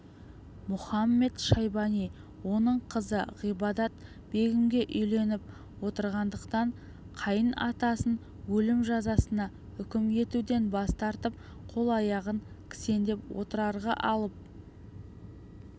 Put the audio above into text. мұхамед-шайбани оның қызы ғибадат-бегімге үйленіп отырғандықтан қайын атасын өлім жазасына үкім етуден бас тартып қол-аяғын кісендеп отырарға алып